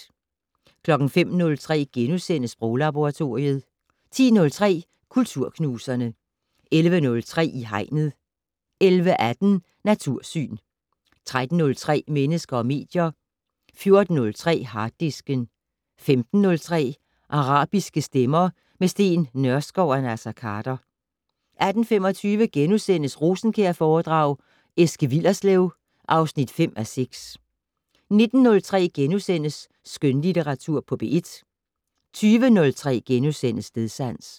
05:03: Sproglaboratoriet * 10:03: Kulturknuserne 11:03: I Hegnet 11:18: Natursyn 13:03: Mennesker og medier 14:03: Harddisken 15:03: Arabiske stemmer - med Steen Nørskov og Naser Khader 18:25: Rosenkjærforedrag: Eske Willerslev (5:6)* 19:03: Skønlitteratur på P1 * 20:03: Stedsans *